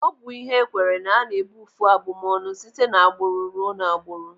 Ọ bụ ihe ekweere na ana ebeufu abụmọnụ site n'agbụrụ ruo n'agbụrụ.